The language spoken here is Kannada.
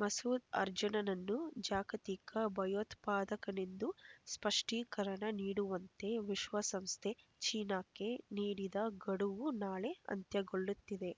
ಮಸೂದ್ ಅರ್ಜುನ ನನ್ನು ಜಾಗತಿಕ ಭಯೋತ್ಪಾದಕನೆಂದು ಸ್ಪಷ್ಟೀಕರಣ ನೀಡುವಂತೆ ವಿಶ್ವಸಂಸ್ಥೆ ಚೀನಾಕ್ಕೆ ನೀಡಿದ ಗಡುವು ನಾಳೆ ಅಂತ್ಯಗೊಳ್ಳುತ್ತಿದೆ